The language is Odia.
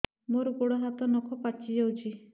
ମୋର ଗୋଡ଼ ହାତ ନଖ ପାଚି ଯାଉଛି